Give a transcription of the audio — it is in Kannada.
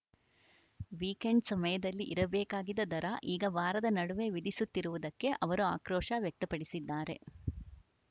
ವೀಕೆಂಡ್‌ ಸಮಯದಲ್ಲಿ ಇರಬೇಕಾಗಿದ್ದ ದರ ಈಗ ವಾರದ ನಡುವೆ ವಿಧಿಸುತ್ತಿರುವುದಕ್ಕೆ ಅವರು ಆಕ್ರೋಶ ವ್ಯಕ್ತಪಡಿಸಿದ್ದಾರೆ